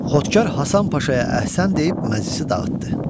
Xodkar Həsən Paşaya əhsən deyib məclisi dağıtdı.